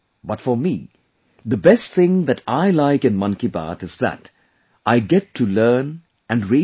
But for me the best thing that I like in 'Mann Ki Baat' is that I get to learn and read a lot